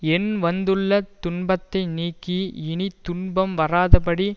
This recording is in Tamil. எண் வந்துள்ள துன்பத்தை நீக்கி இனி துன்பம் வராதபடி